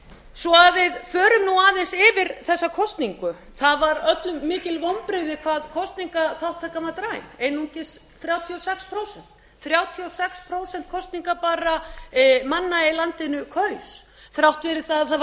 svo að við förum nú aðeins yfir þessa kosningu það var öllum mikil vonbrigði hvað kosningaþátttakan var dræm einungis þrjátíu og sex prósent þrjátíu og sex prósent kosningabærra manna í landinu kaus þrátt fyrir það að það var